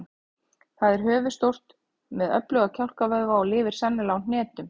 Það er höfuðstórt með öfluga kjálkavöðva og lifir sennilega á hnetum.